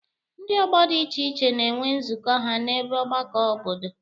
Ndị ọgbọ dị iche iche na-enwe nzukọ ha n'ebe mgbakọ obodo.